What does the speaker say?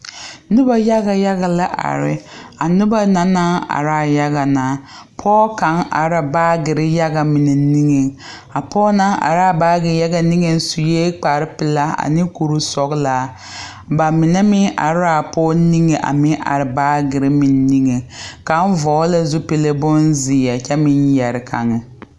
Noba yaɡa yaɡa la are a noba na naŋ are a yaɡa na pɔɔ kaŋ are la baaɡere yaɡa mine niŋeŋ a pɔɔ na are a baaɡe yaɡa niŋeŋ sue kparpelaa ane kursɔɡelaa ba mine meŋ are la a pɔɔ niŋe a meŋ are baaɡere meŋ niŋeŋ kaŋ vɔɔl la zupili bonzeɛ kyɛ meŋ yɛre kaŋ.